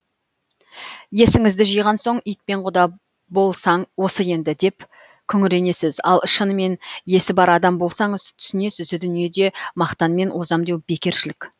есіңізді жиған соң итпен құда болсаң осы енді деп күңіренесіз ал шынымен есі бар адам болсаңыз түсінесіз дүниеде мақтанмен озам деу бекершілік